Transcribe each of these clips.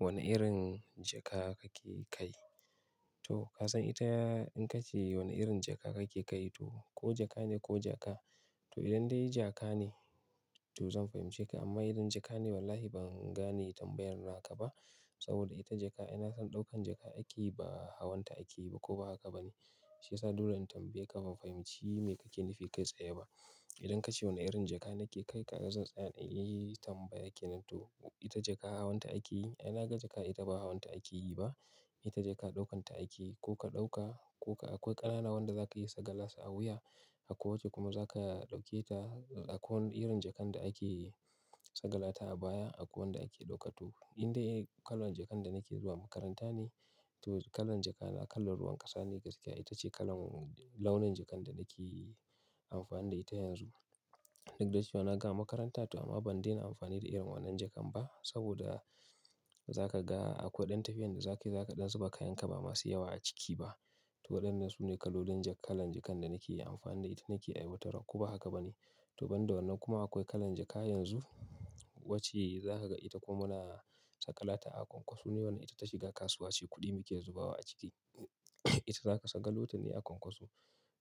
Wane irin jaka kake kai? To ka san ita in ka ce wane irin jaka kake kai to ko jaka ne ko jaka. To idan dai jaka ne to zan fahimce ka amma idan jaka ne wallahi ban gane tambayar naka ba. Saboda ita jaka ai na san ɗaukan jaka ake yi ba hawanta ake yi ba ko ba haka ba ne? Shi yasa dole in tambaye ka ban fahimci me kake nufi kai tsaye ba. Idan ka ce wane irin jaka nake kai ka ga zan tsaya na yi tambaya ke nan to ita jaka hawanta ake yi ai na ga jaka ita ba hawanta ake yi ba. Ita jaka ɗaukanta ake yi ko ka ɗauka ko ka akwai ƙanana wanda za ka yi sagala su a wuya akwai wace kuma za ka ɗauke ta akwai wani irin jakan da ake sagala ta a baya akwai wanda ake ɗauka. To in dai kalan jakar da nake zuwa makaranta ne to kalan jaka na kalan ruwan ƙasa ne gaskiya ita ce kalan launin jakan da nake amfani da ita yanzu. Duk da cewa na gama makaranta to amma ban daina amfani da irin wannan jakan ba saboda za ka ga akwai ɗan tafiyan da za ka yi za ka ɗan zuba kayan ka ba masu yawa a ciki ba. To waɗannan su ne kalolin ja kalan jakan da nake yi amfani da ita nake aiwatarwa ko ba haka ba ne? To ban da wannan kuma akwai kalan jaka yanzu wacce za ka ga ita kuma muna sagala ta a kwankwaso ne wannan ita ta shiga kasuwa sai kuɗi muke zubawa a ciki. Ita za ka sagalo ta ne a kwankwaso.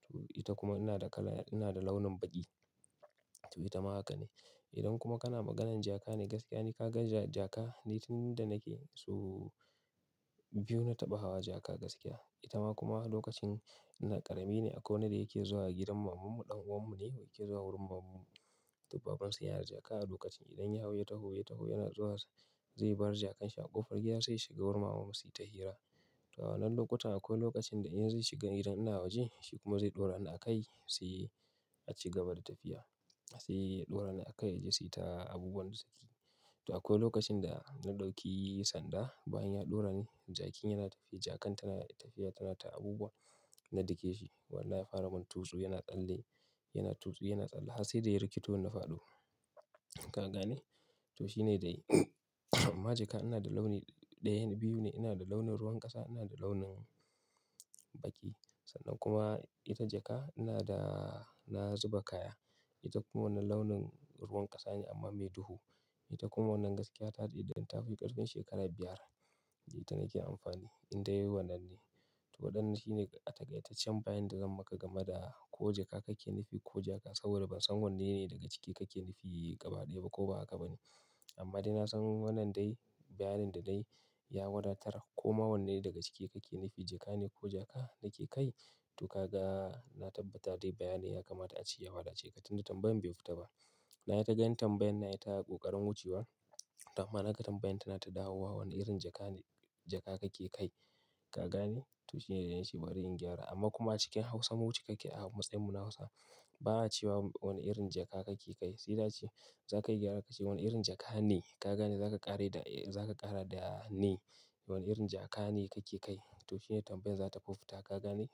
To ita kuma ina da kala ina da launin baƙi to ita ma haka ne. Idan kuma kana maganan jaka ne gaskiya ne ka ga ja jaka ni tun da nake sau biyu na taɓa hawa jaka gaskiya. Ita ma kuma lokacin na ƙarami ne akwai wani da yake zuwa a gidan maman mu ɗan uwan mu ne yake zuwa wurin maman mu. To baban su yana da jaka a lokacin idan ya hau ya taho ya taho yana zuwa zai bar jakkan shi a ƙofar gida sai shiga wurin maman mu su yi ta hira. To a wannan lokutan akwai lokacin da in zai shiga idan ina waje shi kuma zai ɗaura ni a kai sai a ci gaba da tafiya. Sai ya ɗaura ni a kai ya je su yi ta abubuwan da suke yi. To akwai lokacin da na ɗauki sanda bayan ya ɗaura ne jakin yana tafiya jakan tana tafiya tana ta abubuwa na dake shi. Walahi ya fara mun tusu yana tsalle yana tusu yana tsalle har sai da ya rikito ni na faɗo. Ka gane? To shi ne dai. Amma jaka ina da launi ɗaya ne biyu ne ina da launin ruwan ƙasa ina da launin baƙi. Sannan kuma ita jaka ina da na zuba kaya. Ita kuma wannan launin ruwan ƙasa ne amma mai duhu. Ita kuma wannan gaskiya ta dai dan ta fi ƙarfin shekara biyar ita nake amfani in dai wannan ne. To waɗannan shine a takaitaccen bayani da zan maka gama da ko jaka kake nufi ko jaka saboda ban san wanne ne daga ciki kake nufi gaba ɗaya ba ko ba haka ba ne. Amma dai na san wannan dai bayanin da dai ya wadatar ko ma wanne ne daga ciki kake nufi jaka ne ko jaka nake kai. To ka ga na tabbata dai bayani ya kamata a ci ya haɗu a ce ka tunda tambayan bai fita ba. Na yi ta gani tambayan na ita ƙoƙarin wucewa. To amma naga tambayan tana ta dawowa wani irin jaka ne jaka kake kai. Ka gane? To shi ne dai nace bari in gyara amma kuma cikin Hausa mu cikakke a matsayin mu na Hausa ba cewa wani irin jaka kake kai. Sai da ce za ka gyara ka ce wane irin jaka ne ka gane za ka ƙare da za ka ƙara da ne wane irin jaka ne kake kai. To shi ne tambayan za ta fi fita ka gane?